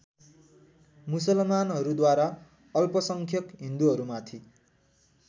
मुसलमानहरूद्वारा अल्पसङ्ख्यक हिन्दुहरूमाथि